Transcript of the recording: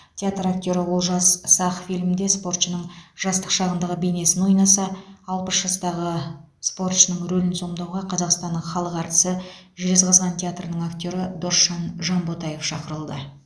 театр актері олжас сақ фильмде спортшының жастық шағындағы бейнесін ойнаса алпыс жастағы спортшының рөлін сомдауға қазақстанның халық әртісі жезқазған театрының актері досжан жанботаев шақырылды